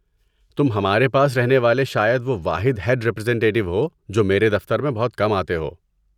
تم ہمارے پاس رہنے والے شاید وہ واحد ہیڈ ریپریزنٹیٹیو ہو جو میرے دفتر میں بہت کم آتے ہو۔